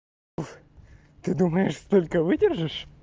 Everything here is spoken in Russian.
ой ты думаешь сколько выдержит